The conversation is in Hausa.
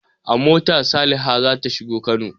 A mota Saliha za ta shiga Kano.